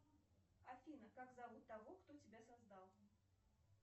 афина как зовут того кто тебя создал